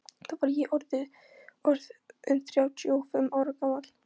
Þá var ég orð inn þrjátíu og fimm ára gamall.